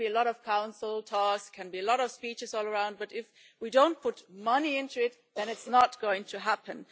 There can be a lot of Council talks, there can be a lot of speeches all around, but if we don't put money into it, then it's not going to happen.